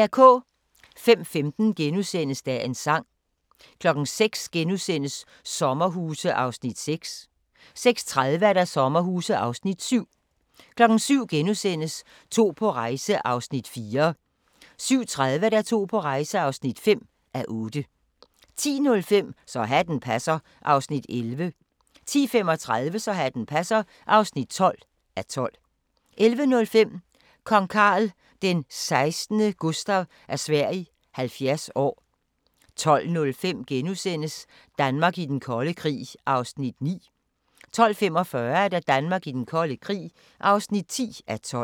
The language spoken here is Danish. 05:15: Dagens Sang * 06:00: Sommerhuse (6:10)* 06:30: Sommerhuse (7:10) 07:00: To på rejse (4:8)* 07:30: To på rejse (5:8) 10:05: Så hatten passer (11:12) 10:35: Så hatten passer (12:12) 11:05: Kong Carl XVI Gustaf af Sverige 70 år 12:05: Danmark i den kolde krig (9:12)* 12:45: Danmark i den kolde krig (10:12)